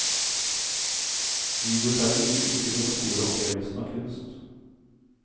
Videoskjermer gir ikke den store opplevelsen av kunst.